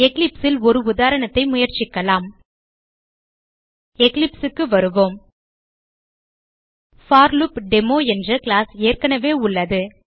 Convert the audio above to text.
Eclipse ல் ஒரு உதாரணத்தை முயற்சிக்கலாம் eclipse க்கு வருவோம் போர்லூப்டேமோ என்ற கிளாஸ் ஏற்கனவே உள்ளது